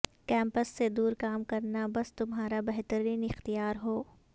campus سے دور کام کرنا بس تمہارا بہترین اختیار ہو